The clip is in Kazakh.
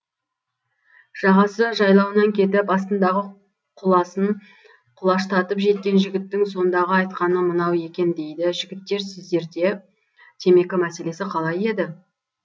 жағасы жайлауынан кетіп астындағы құласын құлаштатып жеткен жігіттің сондағы айтқаны мынау екен дейді жігіттер сіздерде темекі мәселесі қалай еді